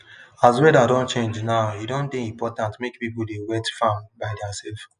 as weather don change now e don dey important make people dey wet farm by their self